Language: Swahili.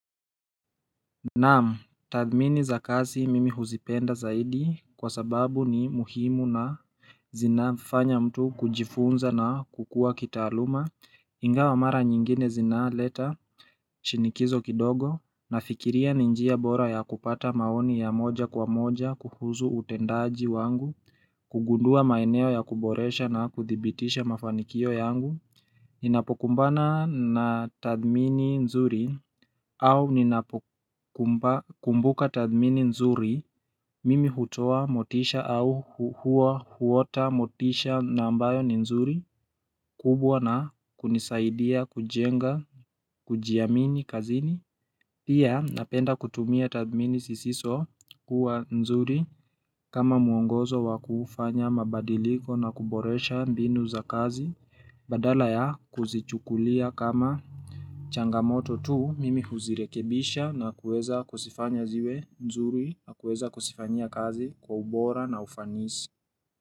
Naam tathmini za kazi mimi huzipenda zaidi kwa sababu ni muhimu na zinafanya mtu kujifunza na kukua kitaaluma inga wamara nyingine zinaleta shinikizo kidogo nafikiria ni njia bora ya kupata maoni ya moja kwa moja kuhuzu utendaji wangu kugundua maeneo ya kuboresha na kuthibitisha mafanikio yangu Ninapokumbana na tadhmini nzuri au ninapokumbuka tadhmini nzuri mimi hutoa motisha au huwa huota motisha na ambayo ni nzuri kubwa na kunisaidia kujenga kujiamini kazini Pia napenda kutumia tadhmini sisiso kuwa nzuri kama muongozo wa kufanya mabadiliko na kuboresha mbinu za kazi Badala ya kuzichukulia kama changamoto tu mimi huzirekebisha na kuweza kusifanya ziwe nzuri na kuweza kusifanyia kazi kwa ubora na ufanisi.